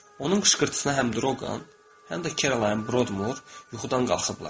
Onun qışqırtısına həm Droqan, həm də Keralayın Brodmoor yuxudan qalxıblar.